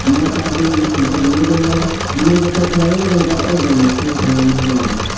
no parking shijak bo nogoimano naitotok kelaioe o tongka jana small finance Bank.